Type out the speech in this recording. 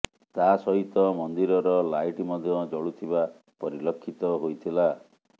ତା ସହିତ ମନ୍ଦିରର ଲାଇଟ୍ ମଧ୍ୟ ଜଳୁଥିବା ପରିଲକ୍ଷିତ ହୋଇଥିଲା